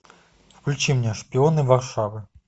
включи мне шпионы варшавы